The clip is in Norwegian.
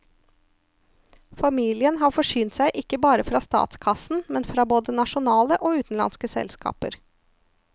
Familien har forsynt seg ikke bare fra statskassen, men fra både nasjonale og utenlandske selskaper.